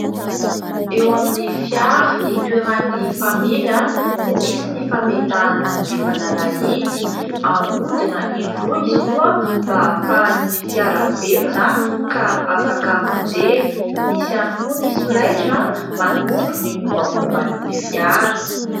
Eo amin'ny fiara hitoeran'ny mpamily no misy ny fametahana ny fanalahidy, ahodina indroa izy mba ahafahan'ny fiara velona ka afaka mandeha ; misy ihany koa ny solaitra manondro ny mombamomban'ny fiara.